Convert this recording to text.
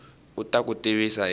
u ta ku tivisa hi